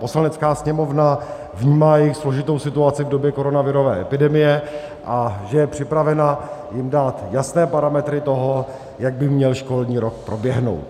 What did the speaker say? Poslanecká sněmovna vnímá jejich složitou situaci v době koronavirové epidemie a že je připravena jim dát jasné parametry toho, jak by měl školní rok proběhnout.